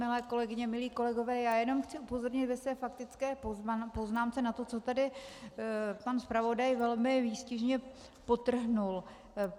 Milé kolegyně, milí kolegové, já jenom chci upozornit ve své faktické poznámce na to, co tady pan zpravodaj velmi výstižně podtrhl.